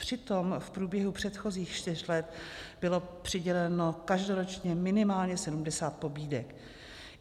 Přitom v průběhu předchozích čtyř let bylo přiděleno každoročně minimálně 70 pobídek.